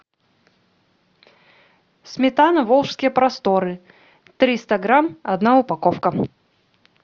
сметана волжские просторы триста грамм одна упаковка